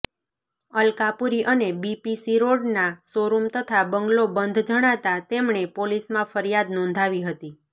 અલકાપુરી અને બીપીસી રોડના શોરૃમ તથા બંગલો બંધ જણાતાં તેમણે પોલીસમાં ફરિયાદ નોંધાવી હતી